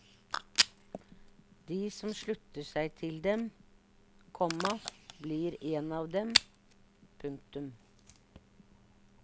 De som slutter seg til dem, komma blir en av dem. punktum